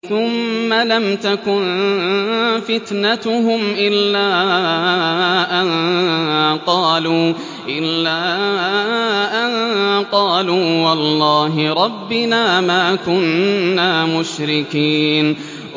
ثُمَّ لَمْ تَكُن فِتْنَتُهُمْ إِلَّا أَن قَالُوا وَاللَّهِ رَبِّنَا مَا كُنَّا مُشْرِكِينَ